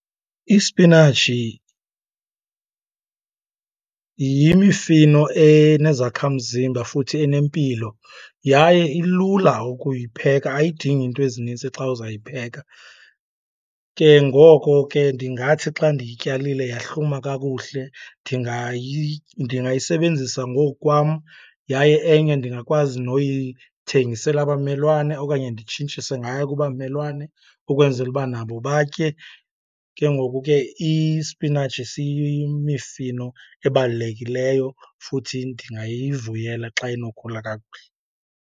Isipinatshi yimifino enezakhamzimba futhi enempilo, yaye ilula ukuyipheka, ayidingi iinto ezininzi xa uzayipheka. Ke ngoko ke ndingathi xa ndiyityalile yahluma kakuhle ndingayisebenzisa ngokukwam yaye enye ndingakwazi noyithengisela abamelwane okanye nditshintshise ngayo kubamelwane ukwenzela uba nabo batye. Ke ngoku ke isipinatshi siyimifino ebalulekileyo futhi ndingayivuyela xa inokhula kakuhle.